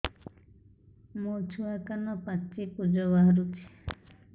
ମୋ ଛୁଆ କାନ ପାଚି ପୂଜ ବାହାରୁଚି